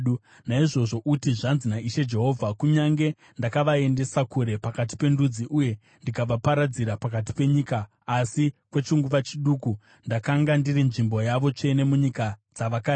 “Naizvozvo uti, ‘Zvanzi naIshe Jehovha: Kunyange ndakavaendesa kure pakati pendudzi uye ndikavaparadzira pakati penyika, asi kwechinguva chiduku ndakanga ndiri nzvimbo yavo tsvene munyika dzavakaenda.’